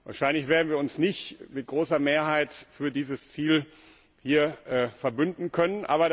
Wahrscheinlich werden wir uns nicht mit großer Mehrheit für dieses Ziel hier verbünden können.